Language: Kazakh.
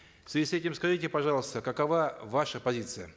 в связи с этим скажите пожалуйста какова ваша позиция